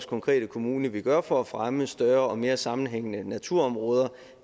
konkrete kommune gør for at fremme større og mere sammenhængende naturområder